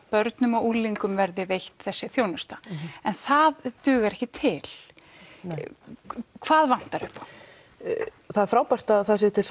börnum og unglingum verði veitt þessi þjónusta en það dugar ekki til hvað vantar upp á það er frábært að það séu til